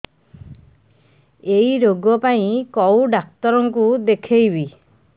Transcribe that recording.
ଏଇ ରୋଗ ପାଇଁ କଉ ଡ଼ାକ୍ତର ଙ୍କୁ ଦେଖେଇବି